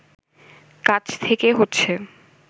কাছ থেকে হচ্ছে